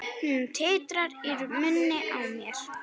Hún titrar í munni mér.